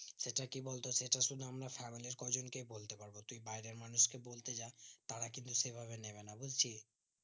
সেটা কি বলতো সেটা শুধু আমরা family র কয়জন কেই বলতে পারবো তুই বাইরের মানুষ কে বলতে যা তারা কিন্তু সে ভাবে নেবে না বুজছিস